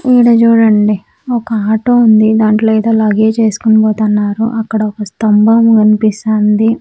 ఈడ చూడండి ఒక ఆటో ఉంది దాంట్లో ఏదో లగేజ్ ఏసుకొని పోతున్నారు అక్కడ ఒక స్తంభం కనిపిస్తానంది.